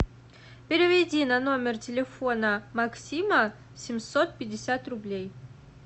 переведи на номер телефона максима семьсот пятьдесят рублей